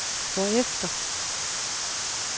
hvorefter